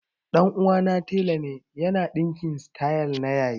Ɗan uwana tela ne ya na ɗinka sityl na yayi